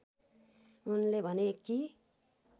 उनले भने कि